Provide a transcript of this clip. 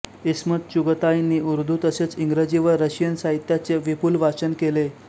इस्मत चुगताईंनी उर्दू तसेच इंग्रजी व रशियन साहित्याचे विपुल वाचन केले